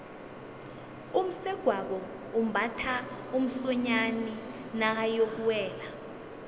umsegwabo umbatha umsonyani nakayokuwela